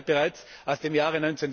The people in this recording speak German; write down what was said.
Sie stammt ja bereits aus dem Jahr